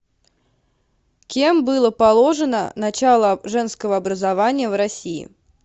кем было положено начало женского образования в россии